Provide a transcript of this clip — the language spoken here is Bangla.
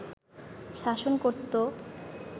শাসন করত